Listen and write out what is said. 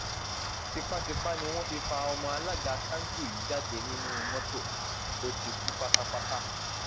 tipàtìpá ni wọn fi fa ọmọ alága kanṣu yìí jáde nínú mọtò ó ti kú pátápátá